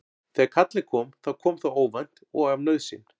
Þegar kallið kom þá kom það óvænt og af nauðsyn.